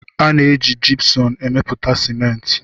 A na-eji Jipsum emepụta Simenti.